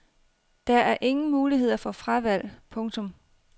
Der er ingen muligheder for fravalg. punktum